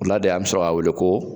Ola de an be sɔrɔ k'a wele ko